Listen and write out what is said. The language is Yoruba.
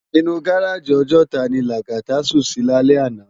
Inú gáráji Òjòtá ni Lagata sún si lálè àná